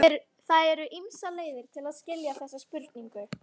Það eru ýmsar leiðir til að skilja þessa spurningu.